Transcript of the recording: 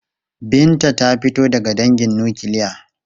Binta ta fito daga dangin nukiliya.